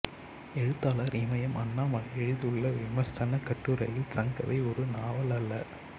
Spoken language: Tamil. எழுத்தாளர் இமையம் அண்ணாமலை எழுதியுள்ள விமர்சனக் கட்டுரையில் சங்கவை ஒரு நாவலல்ல